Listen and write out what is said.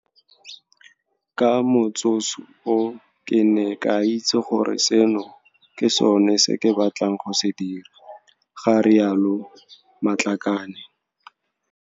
Ka motsoso oo ke ne ka itse gore seno ke sone se ke batlang go se dira, ga rialo Matlakane.